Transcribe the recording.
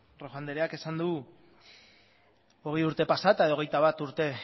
rojo andreak esan du hogei urte pasata edo hogeita bat urte